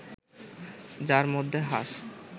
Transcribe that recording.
যার মধ্যে হাঁস